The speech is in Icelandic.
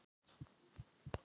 legan, óútskýranlegan hátt.